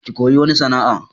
Ki koyi wani sana'a!